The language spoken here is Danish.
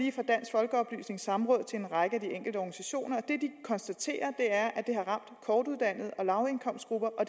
folkeoplysnings samråd til en række af de enkelte organisationer det de konstaterer er at det har ramt kortuddannede og lavindkomstgrupper og